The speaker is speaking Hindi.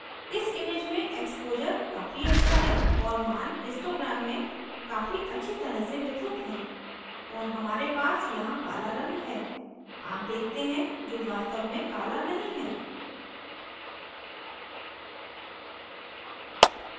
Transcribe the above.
इस image में exposure काफी अच्छा है और image histogram में काफी अच्छी तरह से वितरित हैं और हमारे पास यहाँ काला रंग है आप देखते हैं जो वास्तव में काला नहीं है